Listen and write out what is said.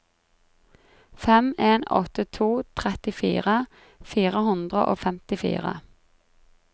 fem en åtte to trettifire fire hundre og femtifire